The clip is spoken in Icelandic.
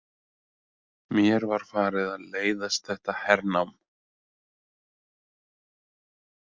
Mér var farið að leiðast þetta hernám.